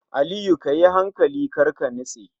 Aliyu kayi hankali karka nitse